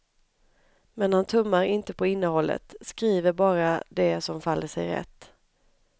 Men han tummar inte på innehållet, skriver bara det som faller sig rätt.